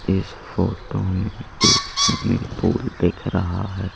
इस फोटो में एक स्विमिंग पूल दिख रहा है।